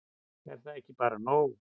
Er það þá ekki bara nóg?